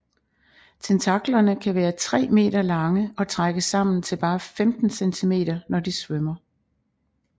Tentaklerne kan være tre meter lange og trækkes sammen til bare 15 cm når de svømmer